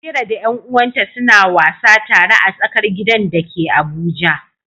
Amira da ƴan uwanta suna wasa tare a tsakar gidan da ke Abuja.